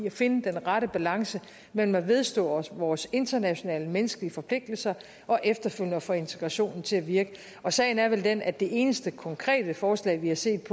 at finde den rette balance mellem at vedstå os vores internationale og menneskelige forpligtelser og efterfølgende at få integrationen til at virke og sagen er vel den at det eneste konkrete forslag vi har set